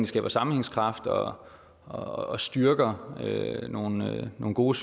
skaber sammenhængskraft og og styrker nogle nogle gode